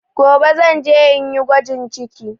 Gobe zan je inyi gwajin ciki